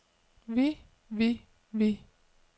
vi vi vi